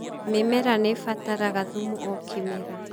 Mĩmera nĩ ĩbataraga thumu o kĩmera.